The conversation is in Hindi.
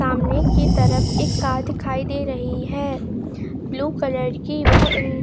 सामने की तरफ एक कार दिखाई दे रही है ब्लू कलर की वह --